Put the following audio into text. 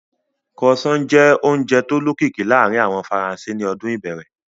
Croissant jẹ́ oúnjẹ tó lókìkí láàárín àwọn Faransé ní ọdún ìbẹ̀rẹ̀